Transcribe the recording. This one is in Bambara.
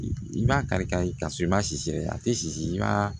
I b'a kari kari ka sɔrɔ i ma sisi yɛrɛ a ti si i b'a